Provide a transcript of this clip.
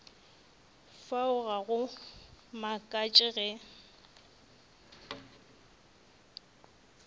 fao ga go makatše ge